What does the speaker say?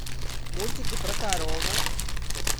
мультики про корову